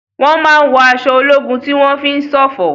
Wọ́n máa ń wọ aṣọ ológun tí wọ́n fi ń ṣọ̀fọ̀.